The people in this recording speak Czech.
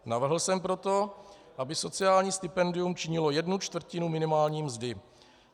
Navrhl jsem proto, aby sociální stipendium činilo jednu čtvrtinu minimální mzdy.